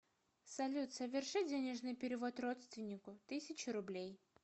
салют соверши денежный перевод родственнику тысячу рублей